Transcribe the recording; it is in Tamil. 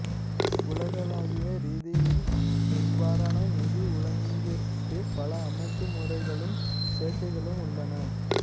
உலகளாவிய ரீதியில் இவ்வாறான நிதி ஒழுங்கிற்கு பல அமைப்பு முறைகளும் சேர்க்கைகளும் உள்ளன